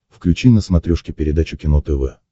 включи на смотрешке передачу кино тв